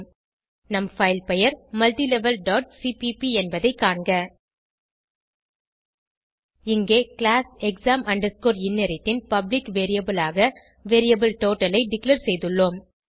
நம் பைல் பெயர் multilevelசிபிபி என்பதை காண்க இங்கே கிளாஸ் exam inherit ன் பப்ளிக் வேரியபிள் ஆக வேரியபிள் டோட்டல் ஐ டிக்ளேர் செய்துள்ளோம்